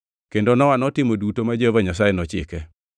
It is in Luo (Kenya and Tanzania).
Kendo Nowa notimo duto ma Jehova Nyasaye nochike.